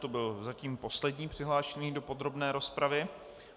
To byl zatím poslední přihlášený do podrobné rozpravy.